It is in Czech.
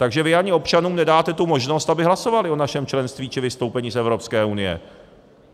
Takže vy ani občanům nedáte tu možnost, aby hlasovali o našem členství či vystoupení z Evropské unie.